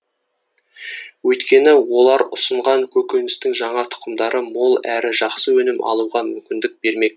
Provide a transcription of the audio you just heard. өйткені олар ұсынған көкөністің жаңа тұқымдары мол әрі жақсы өнім алуға мүмкіндік бермек